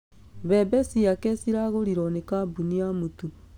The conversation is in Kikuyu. Mbebe ciake ciragũrirwo nĩ kambũni ya mũtu